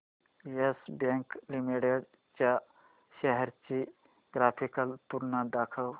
yes Bank Limited च्या shares ची graphical तुलना दाखव